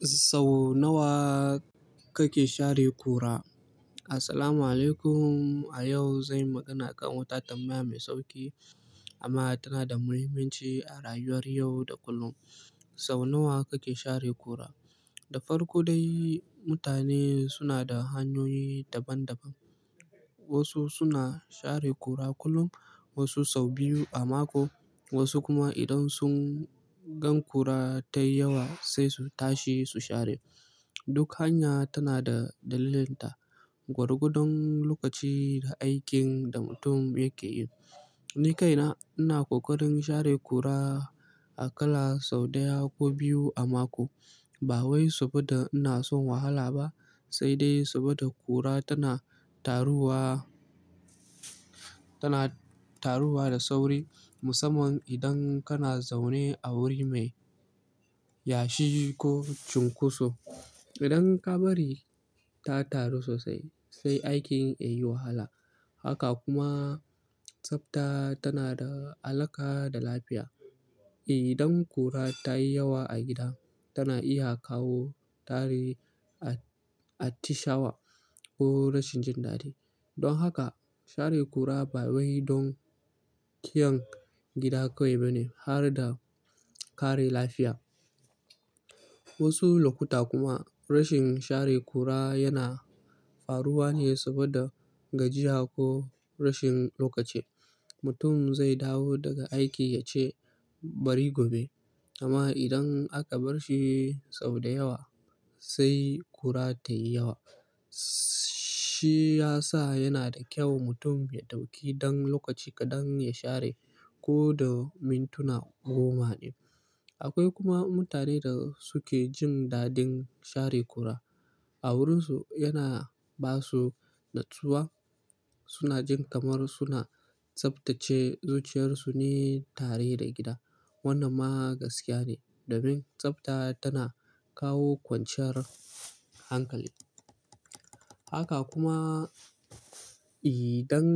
Sau nawa kake share kura? Assalamualaikum. A yau zan yi magana akan wata tambaya mai sauƙi amma tana da muhimmanci a rayuwar yau da kullum. Sau nawa kake share kura? Da farko dai, mutane suna da hanyoyi daban-daban. Wasu suna share ƙura kullum, wasu sau biyu a mako, wasu kuma idan sun gan ƙura ta yi yawa sai su tashi su share. Duk hanya tana da dalilinta, gwargwadon lokaci da aikin da mutum yake yi. Ni kaina ina ƙoƙarin share kura aƙalla sau ɗaya ko biyu a mako. Ba wai saboda ina son wahala ba, sai dai saboda kura tana taruwa, tana taruwa da sauri. Musamman idan kana zaune a wuri mai yashi ko cunkoso. Idan ka bari ta taru sosai, sai aikin ya yi wahala. Haka kuma tsafta tana da alaka da lafiya. Idan kura ta yi yawa a gida, tana iya kawo tarin atishawa ko rashin jin dadi. Don haka share kura ba wai don kiyan gida kawai bane, har da kare lafiya. Wasu lokuta kuma rashin share kura yana faruwa ne saboda gajiya ko rashin lokaci. Mutum zai dawo daga aiki ya ce bari gobe. Amma idan aka bar shi sau da yawa, sai kura ta yi yawa. Shi ya sa yana da kyau mutum ya ɗauki ɗan lokaci kaɗan ya share ko da mintuna goma ne. Akwai kuma mutanen da suke jin daɗin share kura. A wurinsu yana ba su natsuwa. Suna jin kamar suna tsaftace zuciyarsu ne tare da gida. Wannan ma gaskiya ne, domin tsafta tana kawo kwanciyar hankali. Haka kuma idan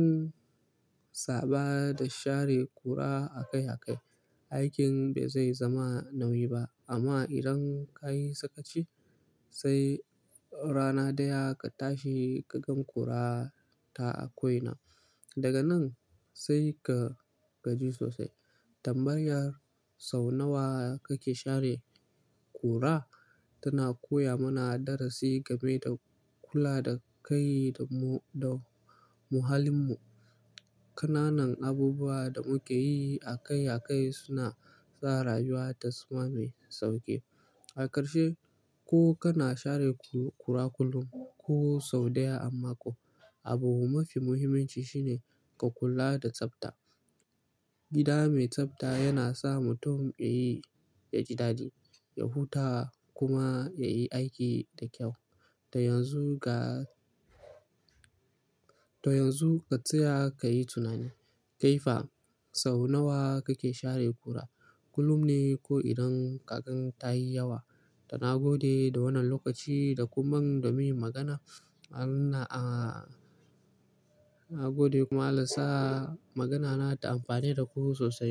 sabo da share kura a kai a kai, aikin ba zai zama nauyi ba. Amma idan ka yi sakaci, sai rana ɗaya ka tashi ka gan kura ta ako ina. Daga nan sai ka gaji sosai. Tambayar sau nawa kake share kura tana koya mana darasi game da kula da kai da muhallin mu. Ƙananan abubuwa da muke yi a kai a kai suna sa rayuwa ta zama mai sauƙi. A ƙarshe, ko kana share kura kullum ko sau ɗaya a mako, abu mafi muhimmanci shine ka kula da tsafta. Gida mai tsafta yana sa mutum ya yi ya jadali, ya huta kuma ya yi aiki da kyau. To yanzu ga-- to yanzu ka tsaya ka yi tunani. Kai fa sau nawa kake share ƙura? Kullum ne ko idan ka gan ta yi yawa? Toh na gode da wannan lokaci da kun ban domin in yi magana. Na gode kuma Allah sa magana na ta amfane da ku sosai.